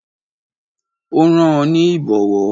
Ó rán an ní Ìbọ̀wọ́